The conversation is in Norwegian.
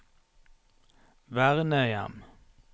vernehjem